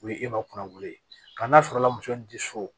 O ye e ma kunnawuli ye nka n'a sɔrɔla muso in tɛ so